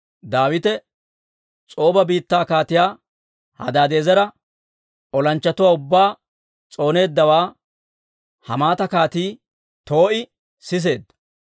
Daawite S'ooba biittaa Kaatiyaa Hadaadi'eezera olanchchatuwaa ubbaa s'ooneeddawaa Hamaata Kaatii Too'i siseedda.